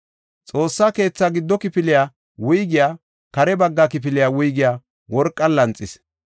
Xoossa keetha giddo kifiliya wuygiya kare bagga kifiliya wuygiya worqan lanxis.